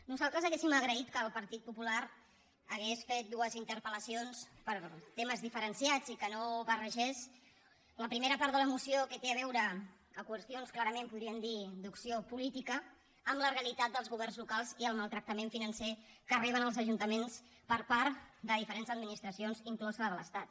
nosaltres hauríem agraït que el partit popular hagués fet dues interpel·lacions per temes diferenciats i que no barregés la primera part de la moció que té a veure a qüestions clarament podríem dir d’opció política amb la realitat dels governs locals i el maltractament financer que reben els ajuntaments per part de diferents administracions inclosa la de l’estat